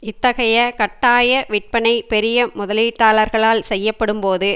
இத்தகைய கட்டாய விற்பனை பெரிய முதலீட்டாளர்களால் செய்யப்படும்போது